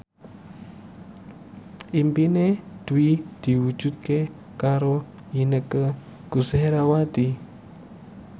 impine Dwi diwujudke karo Inneke Koesherawati